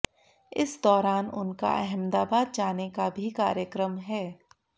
इस दौरान उनका अहमदाबाद जाने का भी कार्यक्रम है